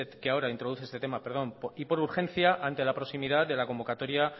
que ahora introduce este tema y por urgencia ante la proximidad de la convocatoria